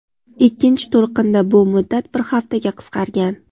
ikkinchi to‘lqinda bu muddat bir haftaga qisqargan.